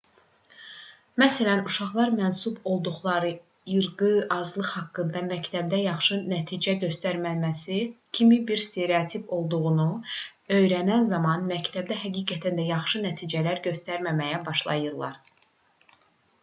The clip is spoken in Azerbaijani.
məsələn uşaqlar mənsub olduqları irqi azlıq haqqında məktəbdə yaxşı nəticə göstərməməsi kimi bir stereotip olduğunu öyrənən zaman məktəbdə həqiqətən də yaxşı nəticələr göstərməməyə başlayırlar